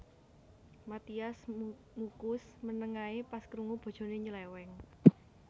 Mathias Muchus meneng ae pas krungu bojone nyeleweng